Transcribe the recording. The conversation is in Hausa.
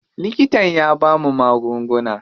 Likitan ya bamu magunguna.